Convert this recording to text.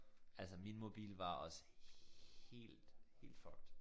Altså min mobil var også helt helt fucked